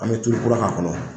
An mɛ tulu kura k'a kɔnɔ.